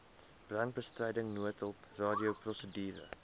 brandbestryding noodhulp radioprosedure